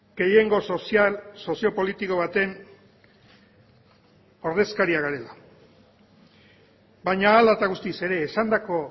gehiengo sozial soziopolitiko baten ordezkariak garela baina hala eta guztiz ere esandako